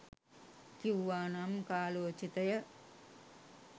කිව්වා නම් කාලෝචිතය.